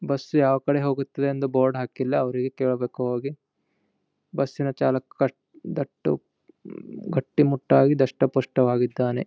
Bus ಯಾವ ಕಡೆ ಹೋಗತ್ತೆ ಅಂತ ಬೋರ್ಡ್ ಹಾಕಿಲ್ಲ ಅವ್ರಿಗೆ ಕೇಳ್ಬೇಕು ಹೋಗಿ ಬಸ್ಸಿನ ಚಾಲಕ ಕಟ್ ದಟ್ಟ ಗಟ್ಟಿ ಮುಟ್ಟಾಗಿ ದಷ್ಟ ಪುಷ್ಟ ವಾಗಿದ್ದಾನೆ.